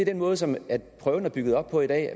den måde som prøven er bygget op på i dag